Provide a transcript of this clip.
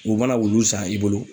U mana wulu san i bolo